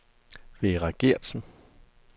Vera Geertsen